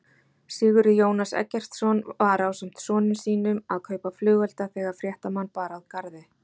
Sigurður Jónas Eggertsson var ásamt sonum sínum að kaupa flugelda þegar fréttamann bar að garði?